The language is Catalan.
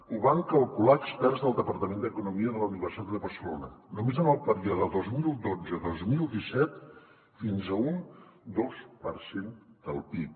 ho van calcular experts del departament d’economia de la universitat de barcelona només en el període vint milions cent i vint dos mil disset fins a un dos per cent del pib